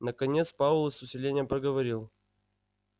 наконец пауэлл с усилением проговорил